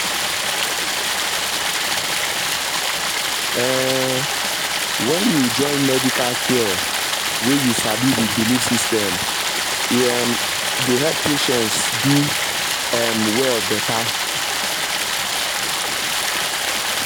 hold on — um when you join medical care wey you sabi with belief system e um dey help patient do um well better.